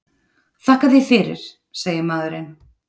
Þakka þér fyrir, segir maðurinn.